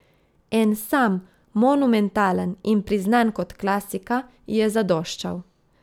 En sam, monumentalen in priznan kot klasika, ji je zadoščal.